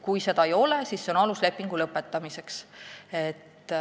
Kui ta seda ei tee, siis see on alus lepingu lõpetamiseks.